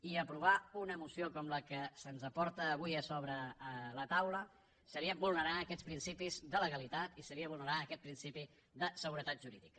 i aprovar una moció com la que se’ns aporta avui a sobre la taula seria vulnerar aquests principis de legalitat i seria vulnerar aquest principi de seguretat jurídica